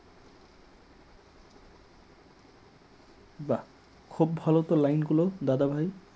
খুব ভালো তো line লো দাদাভাই